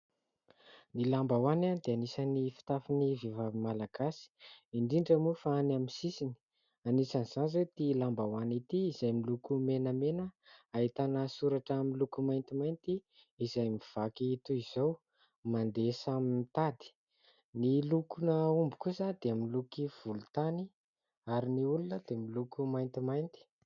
ny lambahoany dia anisan'ny fitafin'ny vehivavy malagasy indrindra moa fa any amin'ny sisiny ,anisan'izany ty lambahoany ity izay miloko menamena ahitana soratra amin'ny loko maintimainty; izay mivaky toy izao samy mandeha samy mitady ,ny lokon 'ny omby kosa dia miloko volontany ary ny olona dia miloko maintimainty